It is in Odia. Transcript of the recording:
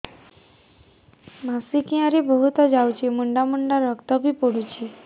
ମାସିକିଆ ରେ ବହୁତ ଯାଉଛି ମୁଣ୍ଡା ମୁଣ୍ଡା ରକ୍ତ ବି ପଡୁଛି